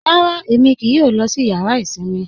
Rárá, Ẹmi kíì yọ lọ sí yàrà isinmi.